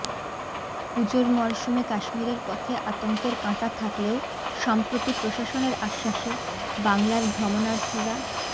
পুজোর মরসুমে কাশ্মীরের পথে আতঙ্কের কাঁটা থাকলেও সম্প্রতি প্রশাসনের আশ্বাসে বাংলার ভ্রমণার্থীরা